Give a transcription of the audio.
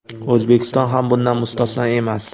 O‘zbekiston ham bundan mustasno emas.